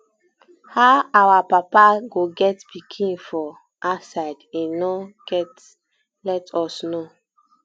how our papa go get pikin for um outside he no um go let us know